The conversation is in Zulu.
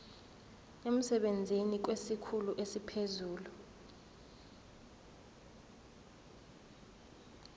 emsebenzini kwesikhulu esiphezulu